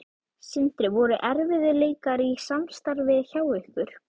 Sindri: Voru erfiðleikar í samstarfi hjá ykkur?